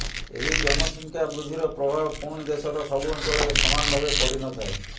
ଏହି ଜନସଂଖ୍ୟା ବୃଦ୍ଧିର ପ୍ରଭାବ ପୁଣି ଦେଶର ସବୁ ଅଞ୍ଚଳରେ ସମାନ ଭାବେ ପଡ଼ିନଥାଏ